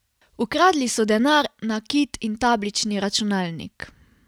Ukradli so denar, nakit in tablični računalnik.